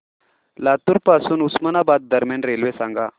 लातूर पासून उस्मानाबाद दरम्यान रेल्वे सांगा